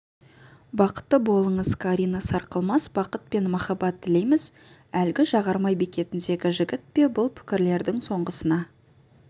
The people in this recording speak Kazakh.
бақытты болыңыз карина сарқылмас бақыт пен махаббат тілейміз әлгі жағармай бекетіндегі жігіт пе бұл пікірлердің соңғысына